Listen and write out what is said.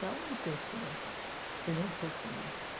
Para uma pessoa, eu já estou feliz.